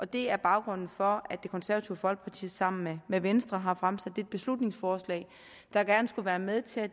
det er baggrunden for at det konservative folkeparti sammen med venstre har fremsat et beslutningsforslag der gerne skulle være med til at